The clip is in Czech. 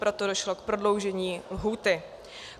Proto došlo k prodloužení lhůty.